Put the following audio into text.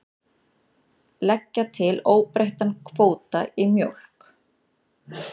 Leggja til óbreyttan kvóta í mjólk